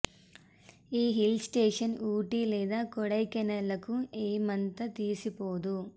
ఈ hill station Ooty లేదా కొడైకెనాల్ లకు ఏమంత తీసిపోదు